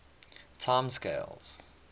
time scales